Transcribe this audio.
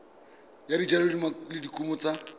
ya dijalo le dikumo tsa